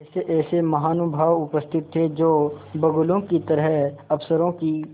ऐसेऐसे महानुभाव उपस्थित थे जो बगुलों की तरह अफसरों की